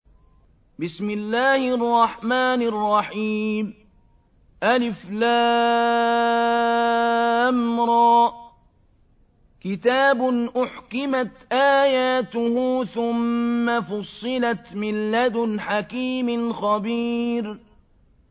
الر ۚ كِتَابٌ أُحْكِمَتْ آيَاتُهُ ثُمَّ فُصِّلَتْ مِن لَّدُنْ حَكِيمٍ خَبِيرٍ